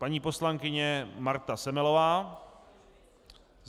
Paní poslankyně Marta Semelová.